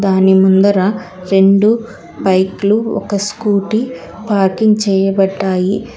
దాని ముందర రెండు బైక్ లు ఒక స్కూటీ పార్కింగ్ చేయబడ్డాయి.